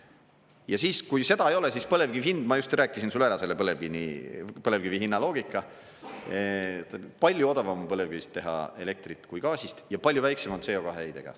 Ja siis, kui seda ei ole, siis põlevkivi hind, ma just rääkisin sulle ära selle põlevkivi hinna loogika, palju odavam on põlevkivist teha elektrit kui gaasist ja palju väiksema CO2 heitega.